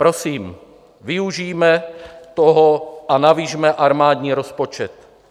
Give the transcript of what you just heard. Prosím, využijme toho a navyšme armádní rozpočet.